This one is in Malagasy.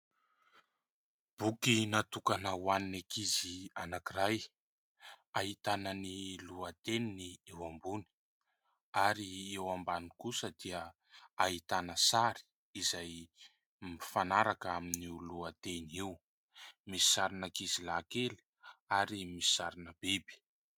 Boky natokana ho an'ny ankizy anankiray, ahitana lohateniny eo ambony ary eo ambany kosa dia ahitana sary izay mifanaraka amin'ny lohateny eo. Misy sarina ankizilahy kely ary misy sarina biby.